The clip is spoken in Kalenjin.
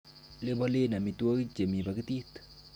Lebolen amitwogik chemi pakitit.